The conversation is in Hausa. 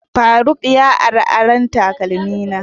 faruk ya ara ɓaƙin taƙalmi na.